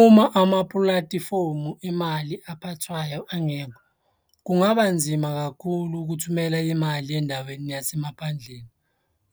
Uma amapulatifomu emali aphathwayo angekho, kungaba nzima kakhulu ukuthumela imali endaweni yasemaphandleni.